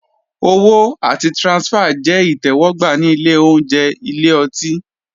Owó àti transfer jẹ́ ìtẹ́wọ́gbà ní ilé oúnjẹ/ ilé ọtí.